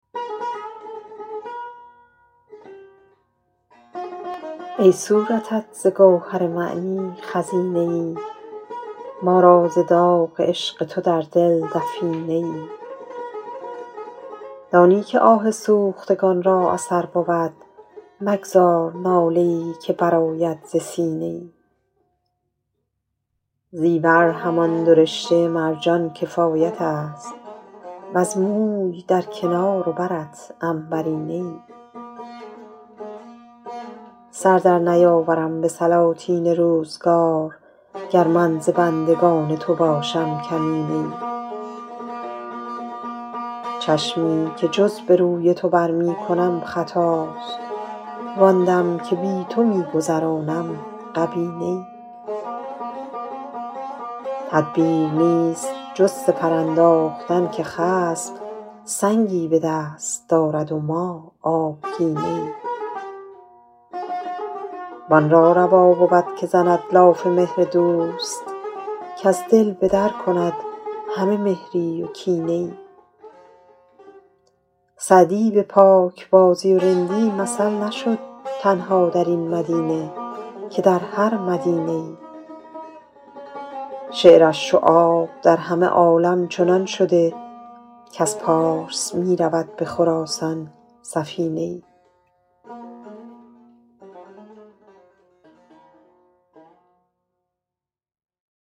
ای صورتت ز گوهر معنی خزینه ای ما را ز داغ عشق تو در دل دفینه ای دانی که آه سوختگان را اثر بود مگذار ناله ای که برآید ز سینه ای زیور همان دو رشته مرجان کفایت است وز موی در کنار و برت عنبرینه ای سر در نیاورم به سلاطین روزگار گر من ز بندگان تو باشم کمینه ای چشمی که جز به روی تو بر می کنم خطاست وآن دم که بی تو می گذرانم غبینه ای تدبیر نیست جز سپر انداختن که خصم سنگی به دست دارد و ما آبگینه ای وآن را روا بود که زند لاف مهر دوست کز دل به در کند همه مهری و کینه ای سعدی به پاکبازی و رندی مثل نشد تنها در این مدینه که در هر مدینه ای شعرش چو آب در همه عالم چنان شده کز پارس می رود به خراسان سفینه ای